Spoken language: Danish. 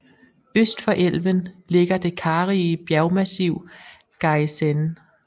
Øst for elven ligger det karrige bjergmassiv Gaissene